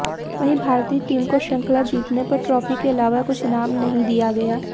वहीं भारतीय टीम को श्रृंखला जीतने पर ट्रॉफी के इलावा कुछ इनाम नही दिया गया